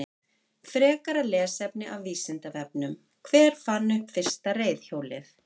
Frekara lesefni af Vísindavefnum: Hver fann upp fyrsta reiðhjólið?